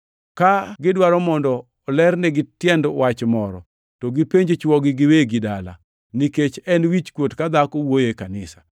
Ka gidwaro mondo olernigi tiend wach moro, to gipenj chwogi giwegi dala, nikech en wichkuot ka dhako wuoyo e kanisa.